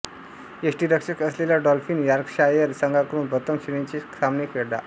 यष्टीरक्षक असलेला Dolphin Yorkshire संघाकडून प्रथम श्रेणीचे सामने खेळला